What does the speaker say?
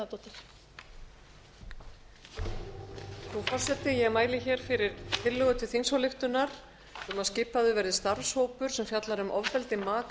frú forseti ég mæli hér fyrir tillögu til þingsályktunar um að skipaður verði starfshópur sem fjallar um ofbeldi maka